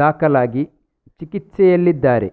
ದಾಖಲಾಗಿ ಚಿಕಿತ್ಸೆಯಲ್ಲಿದ್ದಾರೆ